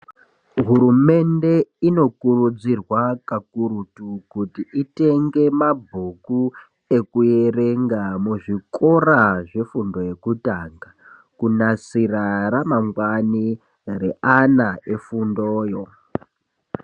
Hurumende inokurudzirwa kakurutu kuti itenge mabhuku ekuerenga muzvikoro zvefundo yekutanga kunasira ramangwani reana efundoyo.